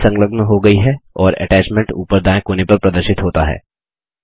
file संलग्न हो गई है और अटैच्मेंट ऊपर दायें कोने पर प्रदर्शित होता है